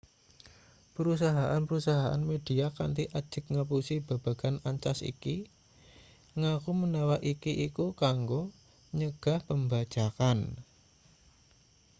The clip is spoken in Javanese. perusahaan-perusahaan media kanthi ajeg ngapusi babagan ancas iki ngaku menawa iki iku kanggo nyegah pembajakan